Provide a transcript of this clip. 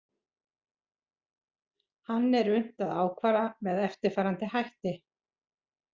Hann er unnt að ákvarða með eftirfarandi hætti.